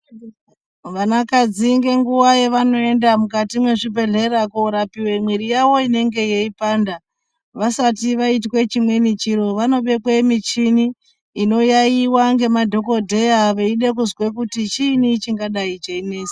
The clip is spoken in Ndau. Vana kadzi ngenguwa yavanoenda mukati mwezvibhedhlera korapiwe mwiri yawo inenge yeipanda vasati vaite chimweni chiro vanobekwe muchini inoyaiwa ngemadhokodheya veide kuzwe kuti chiini chingadai cheinesa.